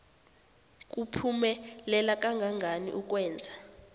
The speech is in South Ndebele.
kuphumelela kangangani ukwenza